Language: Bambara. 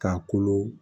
K'a kolo